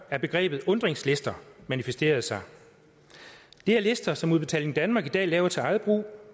at begrebet undringslister manifesterer sig det er lister som udbetaling danmark i dag laver til eget brug